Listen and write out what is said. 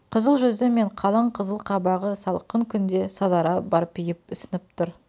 қызыл жүзі мен қалың қызыл қабағы салқын күнде сазара барбиып ісініп тұр